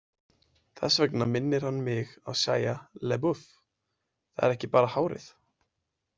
Þess vegna minnir hann mig á Shia Laboeuf, það er ekki bara hárið.